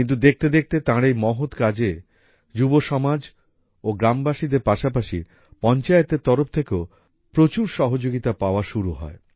কিন্তু দেখতে দেখতে তাঁর এই মহৎ কাজে যুবসমাজ এবং গ্রামবাসীদের পাশাপাশি পঞ্চায়েতের তরফ থেকেও প্রচুর সহযোগিতা মেলা শুরু হয়